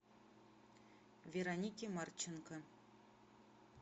веронике марченко